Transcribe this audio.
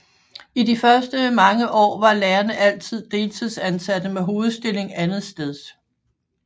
I de første mange år var lærerne deltidsansatte med hovedstilling andetsteds